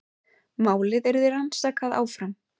Málið yrði rannsakað áfram